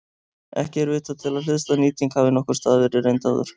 Ekki er vitað til að hliðstæð nýting hafi nokkurs staðar verið reynd áður.